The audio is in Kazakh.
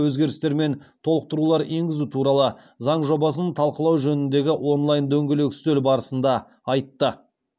өзгерістер мен толықтырулар енгізу туралы заң жобасын талқылау жөніндегі онлайн дөңгелек үстел барысында айтты